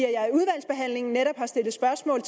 i udvalgsbehandlingen netop har stillet spørgsmål